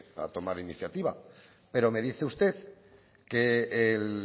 a tomar iniciativa pero me dice usted que el